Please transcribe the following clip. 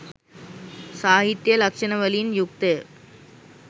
සාහිත්‍යය ලක්‍ෂණවලින් යුක්තය